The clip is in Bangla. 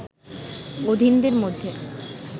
অধীনদের মধ্যে